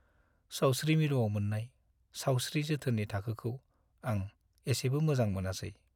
सावस्रि मिरुआव मोन्नाय सावस्रि जोथोननि थाखोखौ आं एसेबो मोजां मोनासै।